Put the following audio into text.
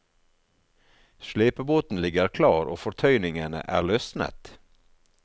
Slepebåten ligger klar og fortøyningene er løsnet.